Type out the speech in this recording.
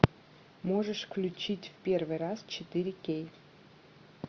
можешь включить в первый раз четыре кей